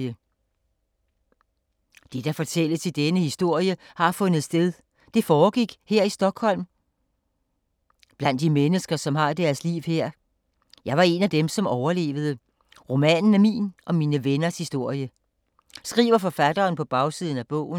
”Det, der fortælles i denne historie, har fundet sted. Det foregik her i Stockholm, ”…”, blandt de mennesker, som har deres liv her. Jeg var en af dem, som overlevede. Romanen er min og mine venners historie.” Skriver forfatteren på bagsiden af bogen.